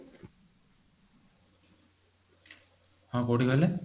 ହଁ କୋଊଠି କହିଲେ